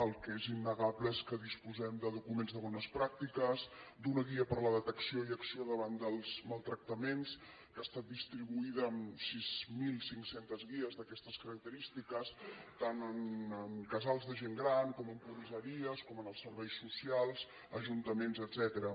el que és innegable és que disposem de documents de bones pràctiques d’una guia per a la detecció i acció davant dels maltractaments que ha estat distribuïda amb sis mil cinc cents guies d’aquestes característiques tant en casals de gent gran com en comissaries com en els serveis socials ajuntaments etcètera